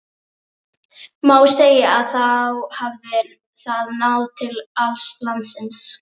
Má segja að þá hafi það náð til alls landsins.